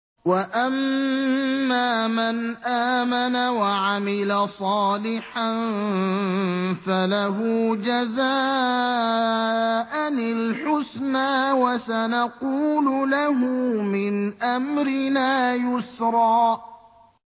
وَأَمَّا مَنْ آمَنَ وَعَمِلَ صَالِحًا فَلَهُ جَزَاءً الْحُسْنَىٰ ۖ وَسَنَقُولُ لَهُ مِنْ أَمْرِنَا يُسْرًا